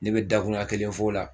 Ne bɛ dakuruɲa kelen fɔ o la